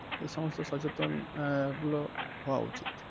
এ সমস্ত সচেতন আহ গুলো হওয়া উচিত.